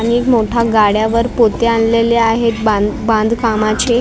आणि एक मोठ्या गाड्यावर पोते आणलेले आहेत बांध बांधकामाचे आणि एक मा--